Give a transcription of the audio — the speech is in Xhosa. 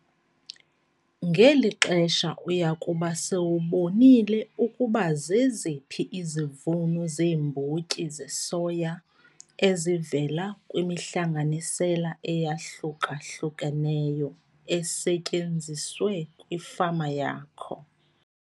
Ngeli xesha uya kuba sowubonile ukuba zeziphi izivuno zeembotyi zesoya ezivela kwimihlanganisela eyahluka-hlukeneyo esetyenziswe kwifama yakho.